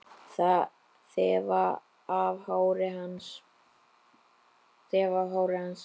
Þefa af hári hans.